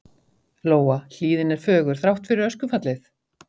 Lóa: Hlíðin er fögur, þrátt fyrir öskufallið?